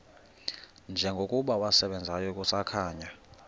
njengokuba wasebenzayo kusakhanya